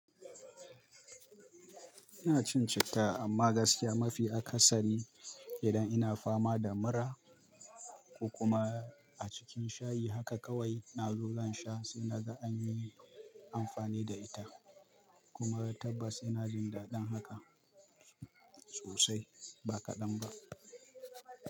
Ina cin citta amma gaskiya mafi aka sari idan ina fama da mura ko kuma a cikin shayi haka kawai nazo zan sha sai naga anyi amfani da ita. Kuma tabbas ina jin daɗin haka sosai ba kaɗan ba.